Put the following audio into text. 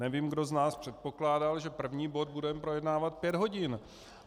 Nevím, kdo z nás předpokládal, že první bod budeme projednávat pět hodin.